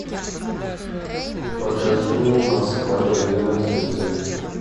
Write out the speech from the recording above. покажи мне москва доверие на телевизоре